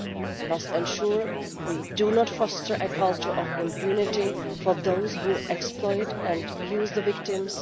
we must ensure we do not foster a culture of impunity for those who exploit and use the victims.